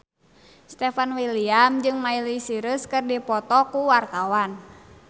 Stefan William jeung Miley Cyrus keur dipoto ku wartawan